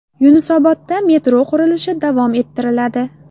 Yunusobodda metro qurilishi davom ettiriladi.